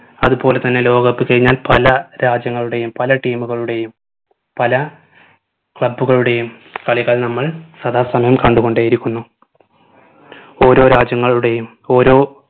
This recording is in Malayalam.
അത് പോലെ തന്നെ ലോക cup കഴിഞ്ഞാൽ പല രാജ്യങ്ങളുടെയും പല team കളുടെയും പല club കളുടെയും കളികൾ നമ്മൾ സദാസമയം കണ്ടു കൊണ്ടേ ഇരിക്കുന്നു ഓരോ രാജ്യങ്ങളുടെയും ഓരോ